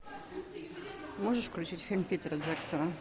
можешь включить фильм питера джексона